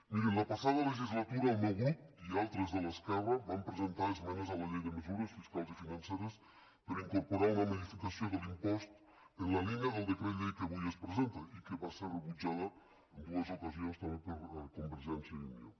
mirin la passada legislatura el meu grup i altres de l’esquerra vam presentar esmenes a la llei de mesures fiscals i financeres per incorporar una modificació de l’impost en la línia del decret llei que avui es presenta i van ser rebutjades en dues ocasions també per convergència i unió